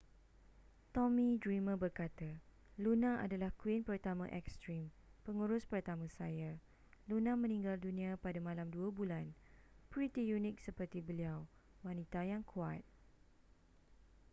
tommy dreamer berkata luna adalah queen pertama ekstrim pengurus pertama saya luna meninggal dunia pada malam dua bulan pretty unik seperti beliau wanita yang kuat